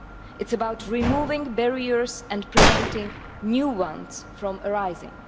It is about removing barriers and preventing new ones from arising.